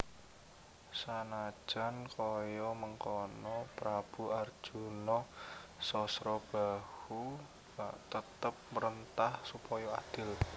Sanajan kaya mengkono Prabu Arjuna Sasrabahu tetep mrentah supaya adil